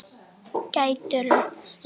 Gætirðu lagt rör í hús?